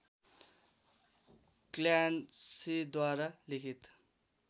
क्ल्यान्सीद्वारा लिखित